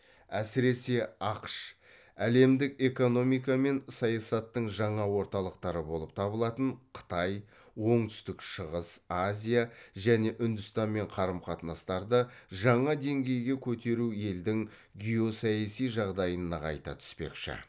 әсіресе ақш әлемдік экономика мен саясаттың жаңа орталықтары болып табылатын қытай оңтүстік шығыс азия және үндістанмен қарым қатынастарды жаңа деңгейге көтеру елдің геосаяси жағдайын нығайта түспекші